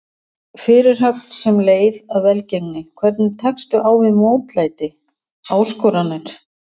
Fyrirhöfn sem leið að velgengni Hvernig tekstu á við mótlæti, áskoranir?